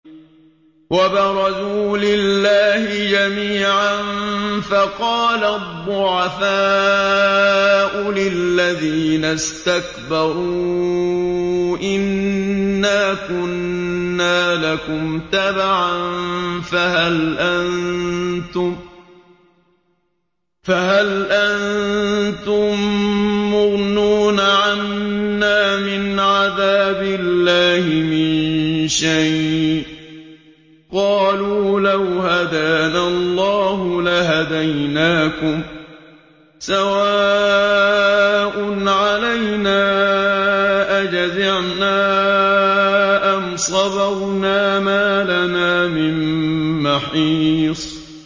وَبَرَزُوا لِلَّهِ جَمِيعًا فَقَالَ الضُّعَفَاءُ لِلَّذِينَ اسْتَكْبَرُوا إِنَّا كُنَّا لَكُمْ تَبَعًا فَهَلْ أَنتُم مُّغْنُونَ عَنَّا مِنْ عَذَابِ اللَّهِ مِن شَيْءٍ ۚ قَالُوا لَوْ هَدَانَا اللَّهُ لَهَدَيْنَاكُمْ ۖ سَوَاءٌ عَلَيْنَا أَجَزِعْنَا أَمْ صَبَرْنَا مَا لَنَا مِن مَّحِيصٍ